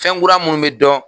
Fɛn kura minnu bɛ dɔn